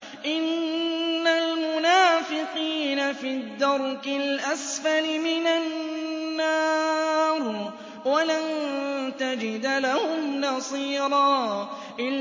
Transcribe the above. إِنَّ الْمُنَافِقِينَ فِي الدَّرْكِ الْأَسْفَلِ مِنَ النَّارِ وَلَن تَجِدَ لَهُمْ نَصِيرًا